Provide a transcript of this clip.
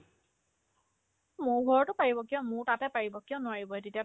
মোৰ ঘৰতো পাৰিব কিয় মোৰ তাতে পাৰিব কিয় নোৱাৰিব তেতিয়াতো